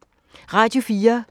Radio 4